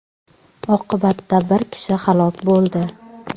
Oqibatda bir kishi halok bo‘ldi.